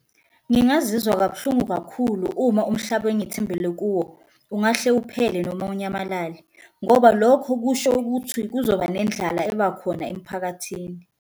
Ngingazizwa kabuhlungu kakhulu uma umhlaba engithembele kuwo ungahle uphele noma unyamalale, ngoba lokho kusho ukuthi kuzoba nendlala ebakhona emphakathini.